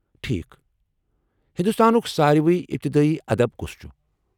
ٹھیكھ ، ہندوستانُک سارِوی اِبتدٲیی ادب کُس چُھ؟